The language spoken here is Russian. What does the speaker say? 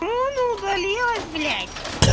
ну оно удалилось блять